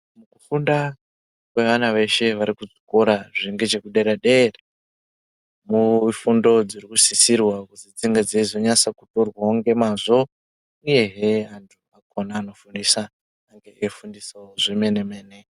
Kufunda kwevana veshe vari kuzvikora zviri ngechekudera deera mefundo dziri kusisirwa kuti dzizonyatso kutorwa nemazvo uye hee antu akona anofundisa ange eifundisawo zvemene mene.